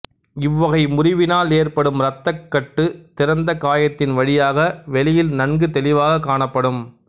இவ்வகை முறிவினால் ஏற்படும் இரத்தக் கட்டு திறந்த காயத்தின் வழியாக வெளியில் நன்கு தெளிவாகக் காணப்படும்